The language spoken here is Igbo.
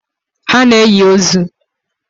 Ha na enyi ozuu